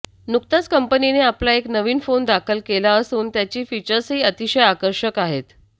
नुकताच कंपनीने आपला एक नवीन फोन दाखल केला असून त्याची फिचर्सही अतिशय आकर्षक आहेत